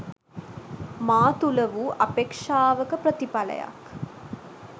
මා තුළ වූ අපේක්ෂාවක ප්‍රතිඵලයක්